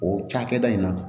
O cakɛda in na